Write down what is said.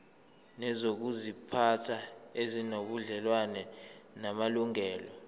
nezokuziphatha ezinobudlelwano namalungelo